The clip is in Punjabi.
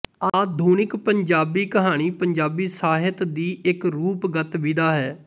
ਆਧੁਨਿਕ ਪੰਜਾਬੀ ਕਹਾਣੀ ਪੰਜਾਬੀ ਸਾਹਿਤ ਦੀ ਇੱਕ ਰੂਪਗਤ ਵਿਧਾ ਹੈ